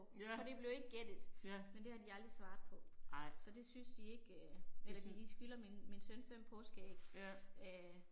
Ja, ja. Ej. Ja